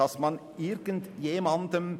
Das haben Sie gut gemacht.